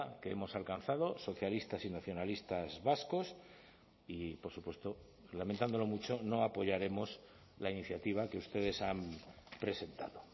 que hemos alcanzado socialistas y nacionalistas vascos y por supuesto lamentándolo mucho no apoyaremos la iniciativa que ustedes han presentado